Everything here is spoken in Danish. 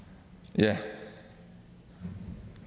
ja